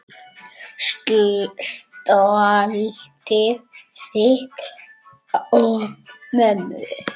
Stoltið þitt og mömmu.